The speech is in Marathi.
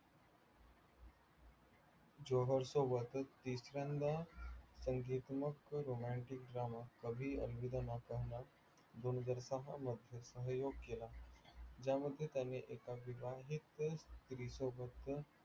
जोहर सोबत तिसऱ्यांदा संगीतमक romantic dramaकभी अलविदा ना कहना दोन हजार सहा मध्ये सहयोग केला. ज्या मध्ये त्याने एका विवाहित स्त्री सोबत